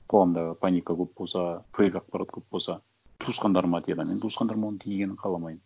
қоғамдағы паника көп болса фейк ақпарат көп болса туысқандарыма тиеді а мен туысқандарыма оның тигенін қаламаймын